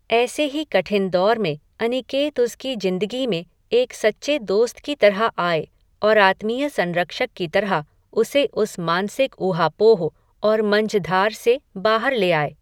ऐसे ही कठिन दौर में, अनिकेत उसकी जिंदगी में, एक सच्चे दोस्त की तरह आये, और आत्मीय संरक्षक की तरह, उसे उस मानसिक ऊहापोह, और मंझधार से, बाहर ले आए